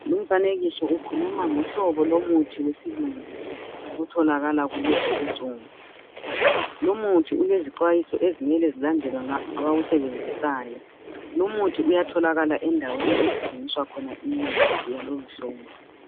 lumfanekiso ukhuluma ngohlobo lumuthi wesilungu otholakala kulezi insuku lomuthi ulezixwayiso okumele zilandelwe ngabawusebenzisayo lumuthi uyatholakala ezindaweni ezithengisa imithi yalowomhlobo